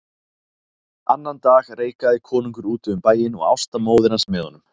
Annan dag reikaði konungur úti um bæinn og Ásta móðir hans með honum.